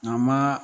Nka ma